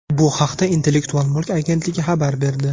Bu haqda Intellektual mulk agentligi xabar berdi.